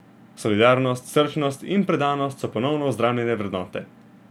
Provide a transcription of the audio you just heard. Solidarnost, srčnost in predanost so ponovno vzdramljene vrednote.